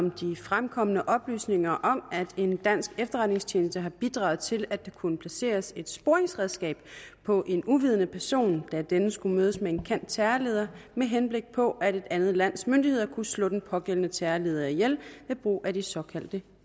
om de fremkomne oplysninger om at en dansk efterretningstjeneste har bidraget til at der kunne placeres et sporingsredskab på en uvidende person da denne skulle mødes med en kendt terrorleder med henblik på at et andet lands myndigheder kunne slå den pågældende terrorleder ihjel ved brug af de såkaldte